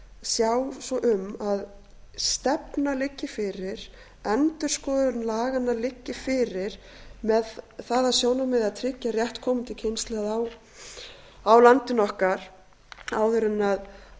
sjá svo um að stefna liggi fyrir endurskoðun laganna liggi fyrir með það að sjónarmiði að tryggja rétt komandi kynslóða á landinu okkar áður